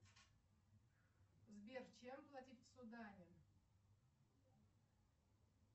сбер чем платить в судане